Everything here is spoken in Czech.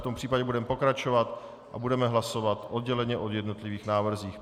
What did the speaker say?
V tom případě budeme pokračovat a budeme hlasovat odděleně o jednotlivých návrzích.